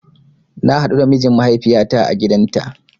Na haɗu da mijin mahaifiyata a gidanta